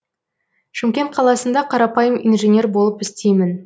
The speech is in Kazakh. шымкент қаласында қарапайым инженер болып істеймін